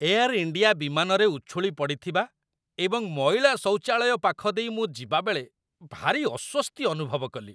Air India ବିମାନରେ ଉଛୁଳି ପଡ଼ିଥିବା ଏବଂ ମଇଳା ଶୌଚାଳୟ ପାଖ ଦେଇ ମୁଁ ଯିବାବେଳେ ଭାରି ଅସ୍ଵସ୍ତି ଅନୁଭବ କଲି।